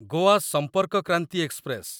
Goa Sampark Kranti express